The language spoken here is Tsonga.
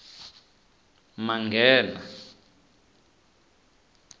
manghena